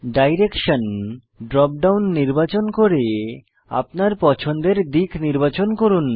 direction drop down নির্বাচন করে আপনার পছন্দের দিক নির্বাচন করুন